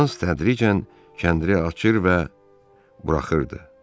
Hans tədricən kəndiri açır və buraxırdı.